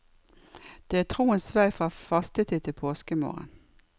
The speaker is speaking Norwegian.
Det er troens vei fra fastetid til påskemorgen.